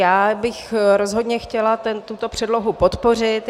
Já bych rozhodně chtěla tuto předlohu podpořit.